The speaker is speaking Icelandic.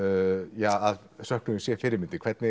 ja að söknuður sé fyrirmyndin hvernig